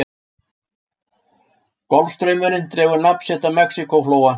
Golfstraumurinn dregur nafn sitt af Mexíkóflóa.